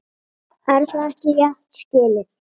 Er það ekki rétt skilið?